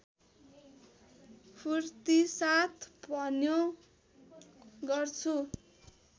फूर्तिसाथ भन्यो गर्छु